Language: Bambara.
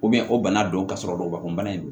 o bana dɔn ka sɔrɔ lɔbakun bana in